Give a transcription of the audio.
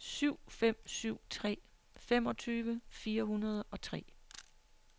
syv fem syv tre femogtyve fire hundrede og tre